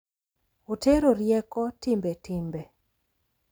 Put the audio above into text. Otero rieko, timbe, timbe,